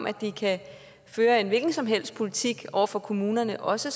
at den kan føre en hvilken som helst politik over for kommunerne og også